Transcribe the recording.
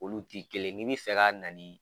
Olu ti kelen ye ni bi fɛ ka na ni